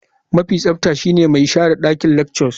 Mafi tsafta shine mai share dakin lecturer.